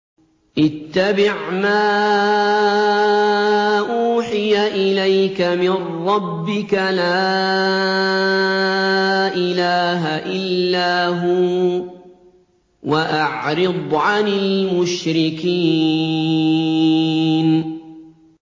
اتَّبِعْ مَا أُوحِيَ إِلَيْكَ مِن رَّبِّكَ ۖ لَا إِلَٰهَ إِلَّا هُوَ ۖ وَأَعْرِضْ عَنِ الْمُشْرِكِينَ